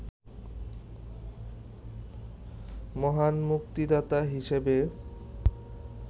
মহান মুক্তিদাতা হিসাবে